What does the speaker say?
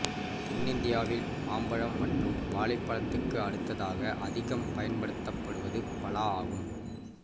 தென்னிந்தியாவில் மாம்பழம் மற்றும் வாழைப்பழத்துக்கு அடுத்ததாக அதிகம் பயன்படுத்தப்படுவது பலா ஆகும்